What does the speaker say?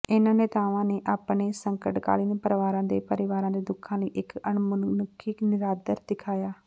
ਇਨ੍ਹਾਂ ਨੇਤਾਵਾਂ ਨੇ ਆਪਣੇ ਸੰਕਟਕਾਲੀਨ ਪਰਵਾਰਾਂ ਦੇ ਪਰਿਵਾਰਾਂ ਦੇ ਦੁੱਖਾਂ ਲਈ ਇਕ ਅਣਮਨੁੱਖੀ ਨਿਰਾਦਰ ਦਿਖਾਇਆ